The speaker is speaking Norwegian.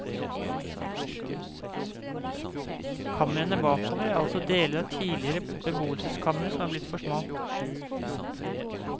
Kamrene bakover er altså deler av tidligere beboelsekamre som er blitt for små.